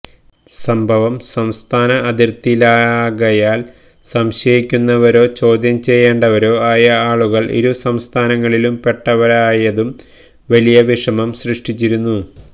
സംഭവം സംസ്ഥാന അതിർത്തിയിലാകയാൽ സംശയിക്കുന്നവരോ ചോദ്യം ചെയ്യേണ്ടവരോ ആയ ആളുകൾ ഇരു സംസ്ഥാനങ്ങളിലും പെട്ടവരായതും വലിയ വിഷമം സൃഷ്്ടിച്ചിരുന്നു